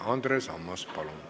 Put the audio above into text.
Andres Ammas, palun!